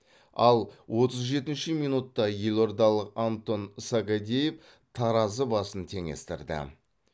ал отыз жетінші минутта елордалық антон сагадеев таразы басын теңестірді